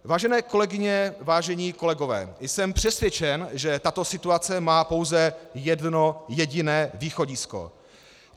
Vážené kolegyně, vážení kolegové, jsem přesvědčen, že tato situace má pouze jedno jediné východisko.